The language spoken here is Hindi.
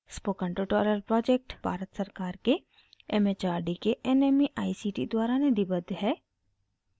स्पोकन ट्यूटोरियल प्रोजेक्ट भारत सरकार के एमएचआरडी के nmeict द्वारा निधिबद्ध है